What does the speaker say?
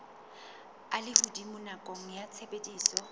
a lehodimo nakong ya tshebediso